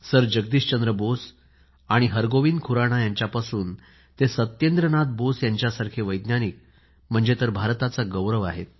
sir Jagadish Chandra Bose आणि हर गोविंद खुराना यांच्यापासून ते सत्येंद्रनाथ बोस यांच्यासारखे वैज्ञानिक म्हणजे भारताचा गौरव आहेत